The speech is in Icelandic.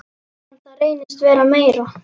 En það reynist vera meira.